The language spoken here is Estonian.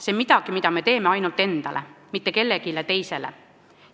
See on midagi, mida me teeme ainult enda, mitte kellegi teise pärast.